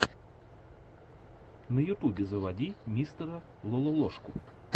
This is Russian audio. на ютубе заводи мистера лололошку